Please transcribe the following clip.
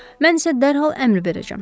Mən isə dərhal əmr verəcəyəm.